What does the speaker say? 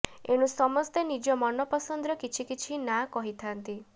ଏଣୁ ସମସ୍ତେ ନିଜ ମନପସନ୍ଦର କିଛି କିଛି ନାଁ କହିଥାନ୍ତି